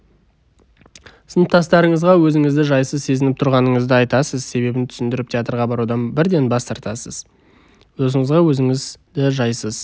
сыныптастарыңызға өзіңізді жайсыз сезініп тұрғаныңызды айтасыз себебін түсіндіріп театрға барудан бірден бас тартасыз досыңызға өзіңізді жайсыз